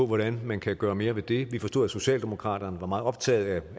hvordan man kan gøre mere ved det vi forstod at socialdemokraterne var meget optaget